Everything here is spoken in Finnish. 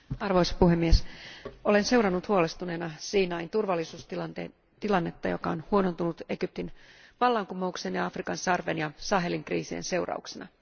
Arvoisa puhemies, olen seurannut huolestuneena Siinain turvallisuustilannetta, joka on huonontunut Egyptin vallankumouksen ja Afrikan sarven ja Sahelin kriisin seurauksena.